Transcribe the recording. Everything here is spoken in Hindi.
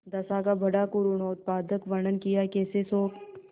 दशा का बड़ा करूणोत्पादक वर्णन कियाकैसे शोक